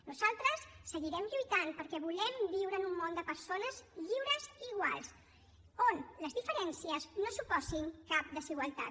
nosaltres seguirem lluitant perquè volem viure en un món de persones lliures i iguals on les diferències no suposin cap desigualtat